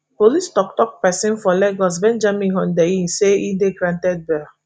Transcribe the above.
police toktok pesin for lagos benjamin hundenyin say e dey granted bail